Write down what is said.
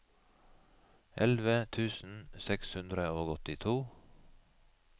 elleve tusen seks hundre og åttito